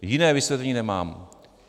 Jiné vysvětlení nemám.